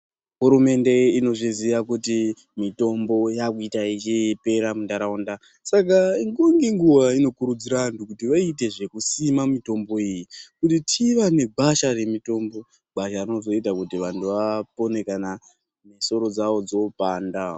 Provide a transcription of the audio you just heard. Hurumende inozviziva kuti mitombo yakuita ichipera mundaraunda Saka nguwa inokurudzira antu asime mitombo iyi kuti tova negwasha remitombo gwasha rinozoita kuti vantu vadetsereke kana misoro dzawo dzopanda.